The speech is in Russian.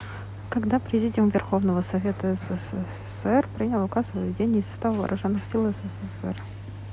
когда президиум верховного совета ссср принял указ о выведении из состава вооруженных сил ссср